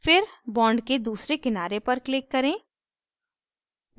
फिर bond के दूसरे किनारे पर click करें